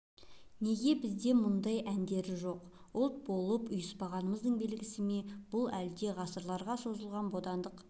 неге бізде мұндай әндері жоқ ұлт болып ұйыспағандығымыздың белгісі ме бұл әлде ғасырларға созылған бодандық